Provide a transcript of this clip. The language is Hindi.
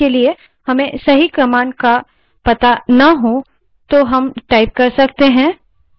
उदाहरण के लिए directory बनाने के लिए हमें सही command का पता ना हो